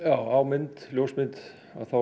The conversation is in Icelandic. á ljósmynd